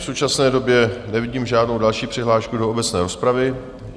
V současné době nevidím žádnou další přihlášku do obecné rozpravy.